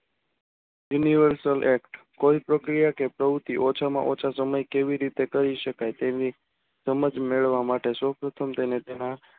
Universal act કોઈ પ્રક્રિયા કે પ્રવૃત્તિ ઓછામાં ઓછા સમયમાં કેવી રીતે કરી શકાય. તેની સમજ મેળવવા માટે સૌપ્રથમ તેને તેના